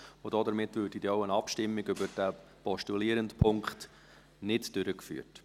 Damit würde auch eine Abstimmung über den postulierten Punkt nicht durchgeführt.